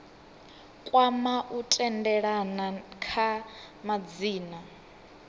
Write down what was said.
kwama u tendelana kha madzina